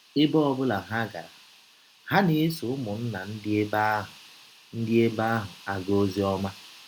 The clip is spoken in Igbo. Ebe ọ bụla ha gara, ha na - esọ ụmụnna ndị ebe ahụ ndị ebe ahụ aga ọzi ọma.